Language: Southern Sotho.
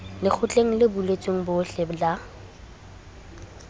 lekgotleng le buletsweng bohle la